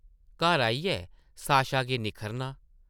घर आइयै साशा गी निक्खरना ।